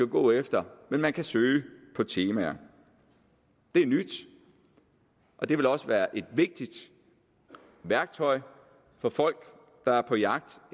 går efter men man kan søge på temaer det er nyt og det vil også være et vigtigt værktøj for folk der er på jagt